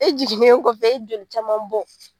E jiginnen kɔfɛ e ye joli caman bɔn.